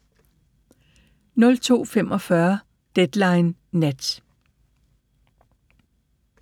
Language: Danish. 02:45: Deadline Nat